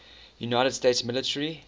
united states military